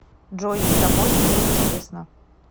джой с тобой неинтересно